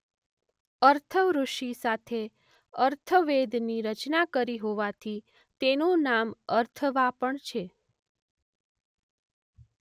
અથર્વ ઋષિ સાથે અથર્વવેદની રચના કરી હોવાથી તેનું નામ અથર્વા પણ છે.